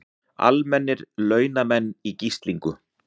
Almennir launamenn í gíslingu